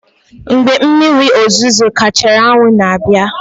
Mgbe mmiri ozuzo gachara, anwụ na-abịa.